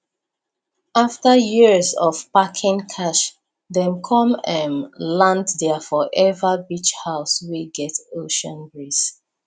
after years of packing cash dem come um land their forever beach house wey get ocean breeze